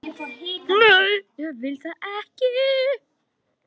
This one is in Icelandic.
Nei, ég vil það ekki.